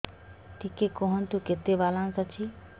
ଟିକେ କୁହନ୍ତୁ କେତେ ବାଲାନ୍ସ ଅଛି